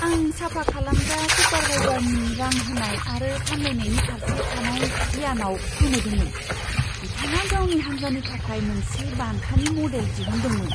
आं साफा खालामग्रा सुपारभाइजारनि रां होनाय आरो साम्लायनायनि फारसे थानाय गियानाव गोमोदोंमोन। बिथाङा गावनि हान्जानि थाखाय मोनसे बान्थानि मडेल दिहुनदोंमोन!